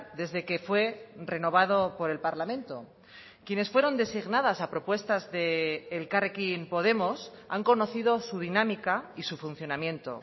desde que fue renovado por el parlamento quienes fueron designadas a propuestas de elkarrekin podemos han conocido su dinámica y su funcionamiento